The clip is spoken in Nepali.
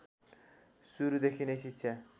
सुरुदेखि नै शिक्षा